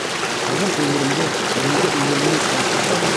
қазір өмірімді бұрынғы өміріммен салыстырсам